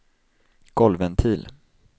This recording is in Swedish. golvventil